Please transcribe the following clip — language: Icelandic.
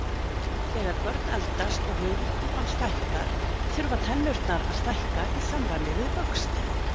Þegar börn eldast og höfuðkúpan stækkar þurfa tennurnar að stækka í samræmi við vöxtinn.